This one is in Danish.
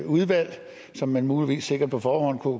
udvalg som man muligvis sikkert på forhånd kunne